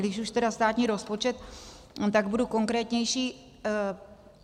Když už tedy státní rozpočet, tak budu konkrétnější.